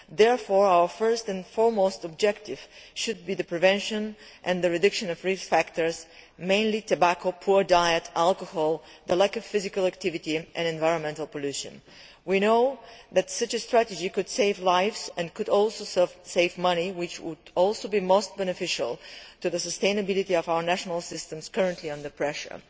Therefore our primary objective should be the prevention and reduction of risk factors, mainly tobacco, poor diet, alcohol, the lack of physical activity and environmental pollution. We know that such a strategy could save lives and could also save money, which would also be most beneficial to the sustainability of our national systems that are currently under pressure.